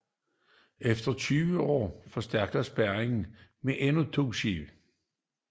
Efter 20 år forstærkes spærringen med endnu to skibe